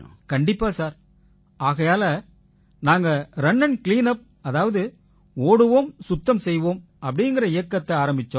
கண்டிப்பா சார் ஆகையால நாங்க ரன் ஆண்ட் கிளீன் உப் அதாவது ஓடுவோம் சுத்தம் செய்வோம் அப்படீங்கற இயக்கத்தை ஆரம்பிச்சோம்